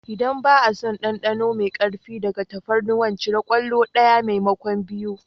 Idan ba a son ɗanɗano mai ƙarfi daga tafarnuwa cire kwallo ɗaya maimakon biyu.